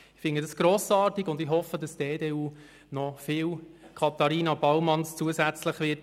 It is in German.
Ich finde das grossartig und hoffe, dass die EDU bei den Wahlen noch viele Katharina-Baumanns bekommen wird.